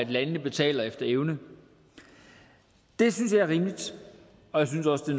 landene betaler efter evne det synes jeg er rimeligt og jeg synes også det